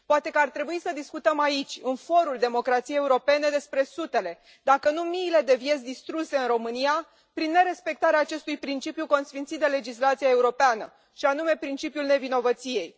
Poate că ar trebui să discutăm aici, în forul democrației europene, despre sutele, dacă nu miile de vieți distruse în România prin nerespectarea acestui principiu consfințit de legislația europeană, și anume principiul nevinovăției.